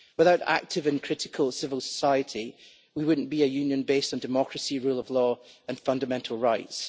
Without active and critical civil society we would not be a Union based on democracy, rule of law and fundamental rights.